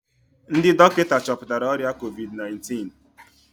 Ndị dọkịta chọpụtara ọrịa COVID-19